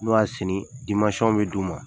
N'o y'a sini bɛ d'u ma.